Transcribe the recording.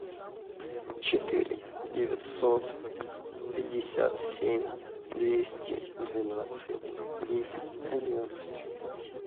четыре девятьсот пятьдесят семь двести двенадцать десять одиннадцать